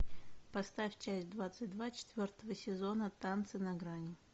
поставь часть двадцать два четвертого сезона танцы на грани